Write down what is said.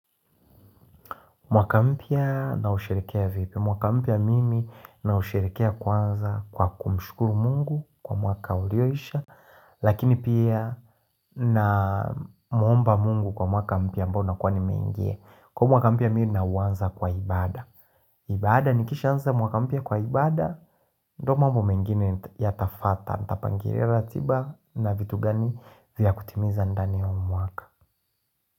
Mwaka mpya na usherekea vipi? Mwaka mpya mimi na usherikea kwanza kwa kumshukuru mungu kwa mwaka ulioisha Lakini pia na muomba mungu kwa mwaka mpya ambao nakuwa ni meingia Kwaiyo mwaka mpya mimi na uwanza kwa ibada ibada ni kishanza mwaka mpya kwa ibada ndo mambo mengine yata fata, nitapangilia ratiba na vitu gani vya kutimiza ndani ya mwaka.